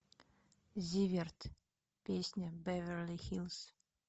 зиверт песня беверли хиллз